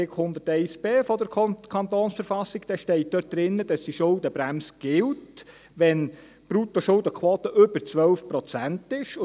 Wenn Sie Artikel 101b KV lesen, steht dort, dass die Schuldenbremse gilt, wenn die Bruttoschuldenquote über 12 Prozent liegt.